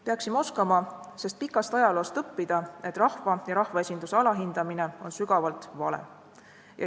Peaksime oskama sest pikast ajaloost õppida, et rahva ja rahvaesinduse alahindamine on sügavalt vale.